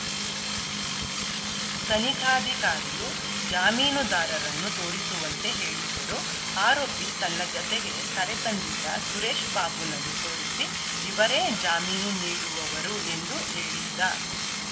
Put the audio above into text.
ತನಿಖಾಧಿಕಾರಿಯು ಜಾಮೀನುದಾರರನ್ನು ತೋರಿಸುವಂತೆ ಹೇಳಿದ್ದರು ಆರೋಪಿ ತನ್ನ ಜತೆಗೆ ಕರೆ ತಂದಿದ್ದ ಸುರೇಶ್‌ ಬಾಬುನನ್ನು ತೋರಿಸಿ ಇವರೇ ಜಾಮೀನು ನೀಡಿರುವವರು ಎಂದು ಹೇಳಿದ್ದ